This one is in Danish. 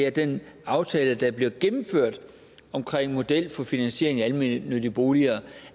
at den aftale der bliver gennemført omkring en model for finansiering af almennyttige boliger